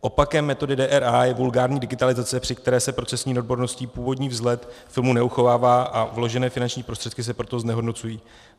Opakem metody DRA je vulgární digitalizace, při které se procesní neodborností původní vzhled filmu neuchovává a vložené finanční prostředky se proto znehodnocují.